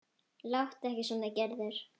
Láttu ekki svona Gerður.